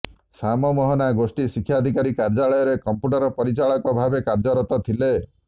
ଶ୍ୟାମ ମୋହନା ଗୋଷ୍ଠୀ ଶିକ୍ଷାଧିକାରୀ କାର୍ଯ୍ୟାଳୟରେ କମ୍ପ୍ୟୁଟର ପରିଚାଳକ ଭାବେ କାର୍ଯ୍ୟରତ ଥିଲେ